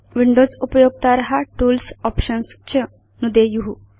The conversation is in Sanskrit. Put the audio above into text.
विंडोज उपयोक्तार टूल्स् Options च नुदेयु